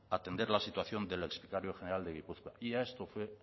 atender la situación del exvicario general de gipuzkoa y a esto fue